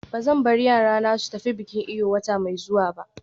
Ba zan bar yarana su tafi bikin Eyo wata mai zuwa ba.